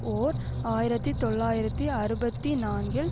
ஓர் ஆயிரத்தி தொள்ளாயிரத்தி அறுபத்தி நான்கில்